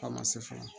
A ma se fɔlɔ